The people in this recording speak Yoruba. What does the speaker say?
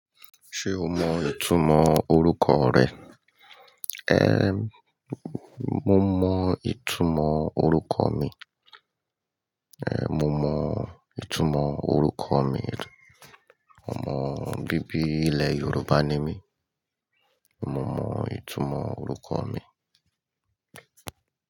Ṣé o mọ ìtumọ̀ orúkọ rẹ? Eh, mo mọ ìtumọ̀ orúkọ mi. Eh, mo mọ ìtumọ̀ orúkọ mi. Ọmọ bíbí ilẹ̀ Yorùbá ni mí. Mo mọ ìtumọ̀ orúkọ mi.